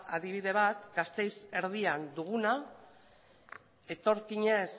adibide bat da gasteiz erdian duguna etorkinez